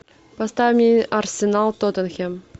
поставь мне арсенал тоттенхэм